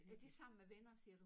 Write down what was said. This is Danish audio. Er det sammen med venner siger du?